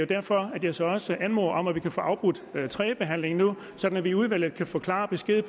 derfor jeg så også anmoder om at vi kan få afbrudt tredjebehandlingen nu sådan at vi i udvalget kan få klar besked